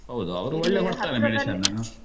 ಹೌದು ಅವ್ರು ಒಳ್ಳೆ ಕೊಡ್ತಾರೆ medicine .